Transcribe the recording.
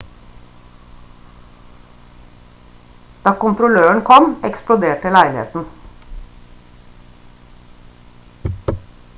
da kontrolløren kom eksploderte leiligheten